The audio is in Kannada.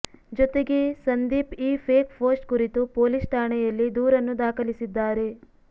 ಜೊತೆಗೆ ಸಂದೀಪ್ ಈ ಫೇಕ್ ಪೋಸ್ಟ್ ಕುರಿತು ಪೊಲೀಸ್ ಠಾಣೆಯಲ್ಲಿ ದೂರನ್ನು ದಾಖಲಿಸಿದ್ದಾರೆ